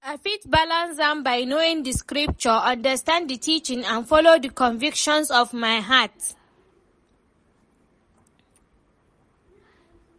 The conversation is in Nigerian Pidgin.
I fit balance am by knowing di scripture, understand di teachings and follow di convictions of my heart.